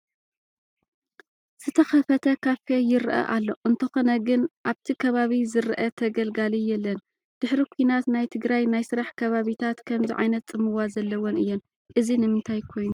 ዝተኸፈተ ካፌ ይርአ ኣሎ፡፡ እንተኾነ ግን ኣብቲ ከባቢ ዝርአ ተገልጋሊ የለን፡፡ ድሕሪ ኲናት ናይ ትግራይ ናይ ስራሕ ከባቢታት ከምዚ ዓይነት ፅመዋ ዘለወን እየን፡፡ እዚ ንምንታይ ኮይኑ?